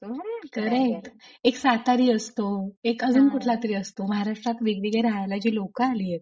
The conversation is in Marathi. खरंय unintelligible एक सातारी असतो एक एक अजून कुठला तरी असतो महाराष्ट्रात राहायला वेगवेगळे राहायला जे लोक आलेत;